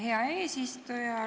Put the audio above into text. Hea eesistuja!